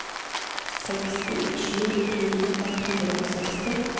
sekstisju tusen ett hundre og seksti